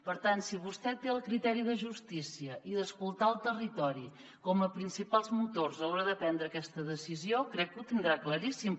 per tant si vostè té el criteri de justícia i d’escoltar el territori com a principals motors a l’hora de prendre aquesta decisió crec que ho tindrà claríssim